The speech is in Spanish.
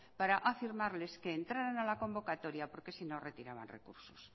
para afirmarles que entraran a la convocatoria porque si no retiraban recursos